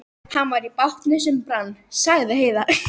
Hann var í bátnum sem brann, sagði Heiða.